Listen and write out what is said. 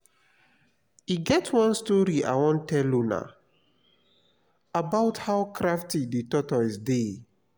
e get one story i wan tell una about how crafty the tortoise dey